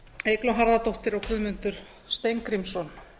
eygló harðardóttir og guðmundur steingrímsson